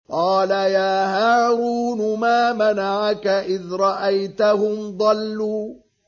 قَالَ يَا هَارُونُ مَا مَنَعَكَ إِذْ رَأَيْتَهُمْ ضَلُّوا